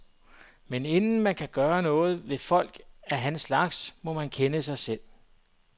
Men inden man kan gøre noget ved folk af hans slags, må man kende sig selv.